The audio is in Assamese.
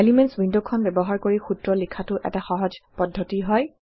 এলিমেণ্টছ ৱিণ্ডখন ব্যৱহাৰ কৰি সূত্ৰ লিখাটো এটা সহজ পদ্ধতি হয়